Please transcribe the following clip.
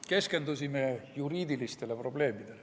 Keskendusime juriidilistele probleemidele.